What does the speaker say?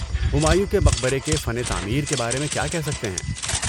ہمایوں کے مقبرے کے فن تعمیر کے بارے میں کیا کہہ سکتے ہیں؟